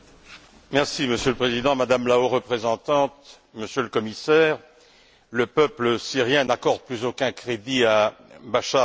Monsieur le Président, Madame la Haute représentante, Monsieur le Commissaire, le peuple syrien n'accorde plus aucun crédit à Bachar el Assad.